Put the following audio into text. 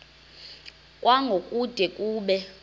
kwango kude kube